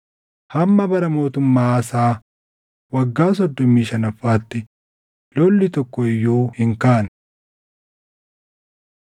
Hamma bara mootummaa Aasaa waggaa soddomii shanaffaatti lolli tokko iyyuu hin kaane.